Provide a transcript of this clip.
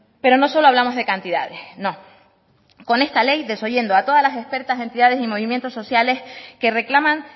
pero no solo hablamos de cantidades no con esta ley desoyendo a todas las expertas entidades y movimientos sociales que reclaman